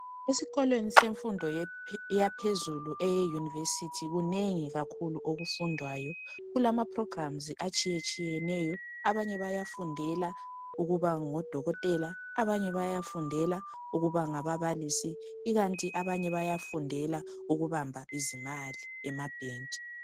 Esikolweni semfundo yaphezulu eyeYunivesi kunengi kakhulu okufundwayo. Kulama "programmes" atshiyeneyo, abanye bayafundela ukuba ngodokotela, abanye bayafundela ukuba ngababalisi ikanti abanye bayafundela ukubamba izimali emabhanga.